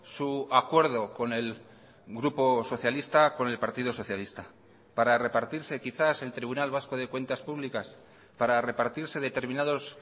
su acuerdo con el grupo socialista con el partido socialista para repartirse quizás el tribunal vasco de cuentas públicas para repartirse determinados